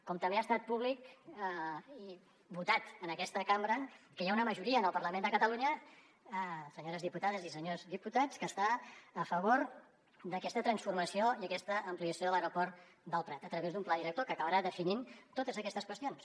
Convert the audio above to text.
com també ha estat públic i votat en aquesta cambra que hi ha una majoria en el parlament de catalunya senyores diputades i senyors diputats que està a favor d’aquesta transformació i d’aquesta ampliació de l’aeroport del prat a través d’un pla director que acabarà definint totes aquestes qüestions